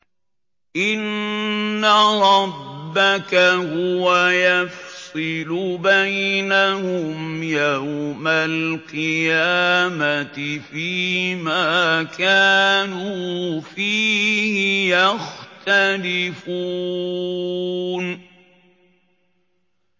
إِنَّ رَبَّكَ هُوَ يَفْصِلُ بَيْنَهُمْ يَوْمَ الْقِيَامَةِ فِيمَا كَانُوا فِيهِ يَخْتَلِفُونَ